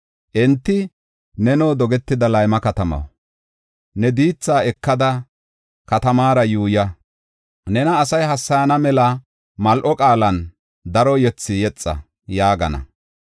Enti, “Neno dogetida layma katamaw, ne diitha ekada katamaara yuuya. Nena asay hassayana mela mal7o qaalan daro yethi yexa” yaagana.